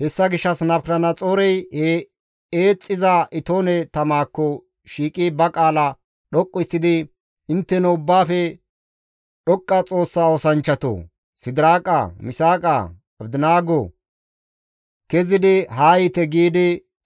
Hessa gishshas Nabukadanaxoorey he eexxiza itoone tamakko shiiqi ba qaala dhoqqu histtidi, «Intteno Ubbaafe Dhoqqa Xoossa oosanchchatoo! Sidiraaqa, Misaaqa, Abdinaago! Kezidi haa yiite!» giidi